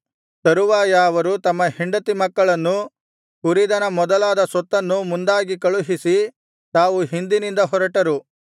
ತರುವಾಯ ಅವರು ತಮ್ಮ ಹೆಂಡತಿ ಮಕ್ಕಳನ್ನೂ ಕುರಿದನ ಮೊದಲಾದ ಸೊತ್ತನ್ನೂ ಮುಂದಾಗಿ ಕಳುಹಿಸಿ ತಾವು ಹಿಂದಿನಿಂದ ಹೊರಟರು